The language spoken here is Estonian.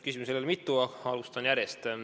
Küsimusi oli mitu, alustan järjest.